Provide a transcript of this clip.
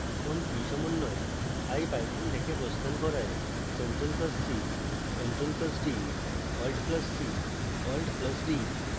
কোন key সমন্বয় ipython থেকে প্রস্থান করায়